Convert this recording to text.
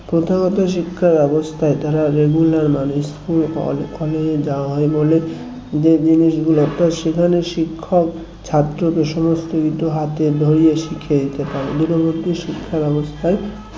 প্রথাগত শিক্ষা ব্যবস্থায় তারা regular মানে school অনেক অনেক যাওয়া হয় বলে যে জিনিসগুলো তা সেখানে শিক্ষক ছাত্রকে সমস্ত কিছু হাতে ধরে শিখিয়ে দিতে পারে দূরবর্তী শিক্ষা বাবস্তায়